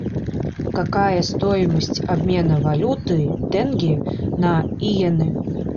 какая стоимость обмена валюты тенге на йены